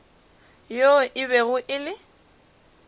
yoo e bego e le